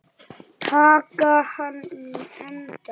Taka hann á eintal.